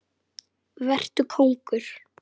Vetur kóngur.